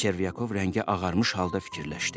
Çervyakov rəngi ağarmış halda fikirləşdi.